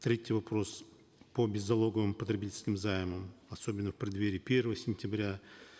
третий вопрос по беззалоговым потребительским займам особенно в преддверии первого сентября